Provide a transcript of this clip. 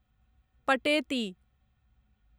पटेति